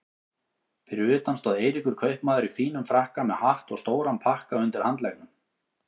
Fyrir utan stóð Eiríkur kaupmaður í fínum frakka með hatt og stóran pakka undir handleggnum.